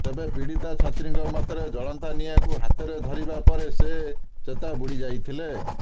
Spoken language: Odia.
ତେବେ ପିଡୀତା ଛାତ୍ରିଙ୍କ ମତରେ ଜଳନ୍ତା ନିଆଁଙ୍କୁ ହାତରେ ଧରିବା ପରେ ସେ ଚେତା ବୁଡି ଯାଇଥିଲେ